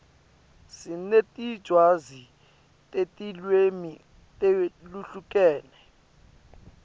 sinetincwadzi tetilwimi letihlukene